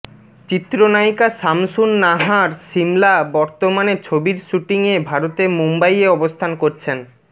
চিত্রনায়িকা সামসুন নাহার সিমলা বর্তমানে ছবির সুটিং এ ভারতের মুম্বাইয়ে অবস্থান করছেন